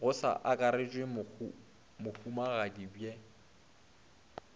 go sa akarešwe mohumagadi bhe